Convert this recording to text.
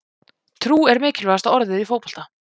Trú er mikilvægasta orðið í fótbolta.